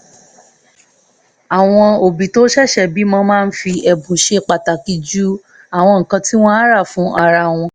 àwọn òbí tó ṣẹ̀ṣẹ̀ bímọ máa fi ẹ̀bùn ṣe pàtàkì ju àwọn nǹkan tí wọ́n á rà fún ara wọn